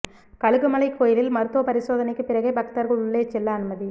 கழுகுமலை கோயிலில் மருத்துவ பரிசோதனைக்கு பிறகே பக்தர்கள் உள்ளே செல்ல அனுமதி